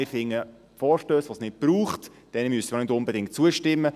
Wir finden: Vorstössen, die es nicht braucht, müssen wir auch nicht unbedingt zustimmen.